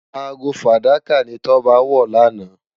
Aágó fádàká ni Toba wò làná